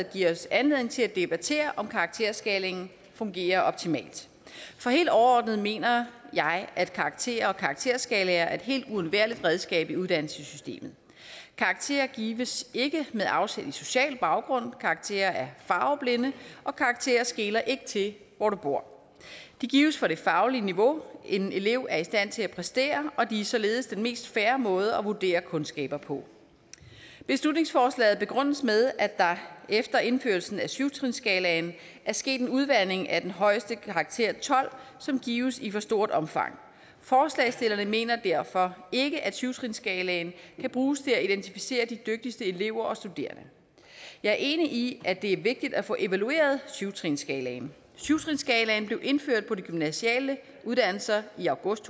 giver os anledning til at debattere om karakterskalaen fungerer optimalt for helt overordnet mener jeg at karakterer og karakterskalaer er et helt uundværligt redskab i uddannelsessystemet karakterer gives ikke med afsæt i social baggrund karakterer er farveblinde og karakterer skeler ikke til hvor du bor de gives for det faglige niveau en elev er i stand til at præstere og de er således den mest fair måde at vurdere kundskaber på beslutningsforslaget begrundes med at der efter indførelsen af syv trinsskalaen er sket en udvanding af den højeste karakter tolv som gives i for stort omfang forslagsstillerne mener derfor ikke at syv trinsskalaen kan bruges til at identificere de dygtigste elever og studerende jeg er enig i at det er vigtigt at få evalueret syv trinsskalaen syv trinsskalaen blev indført på de gymnasiale uddannelser i august